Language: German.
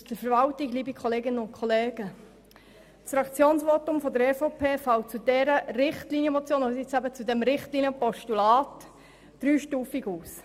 Das Fraktionsvotum der EVP fällt zu dieser Richtlinienmotion bzw. zu diesem Richtlinienpostulat dreistufig aus.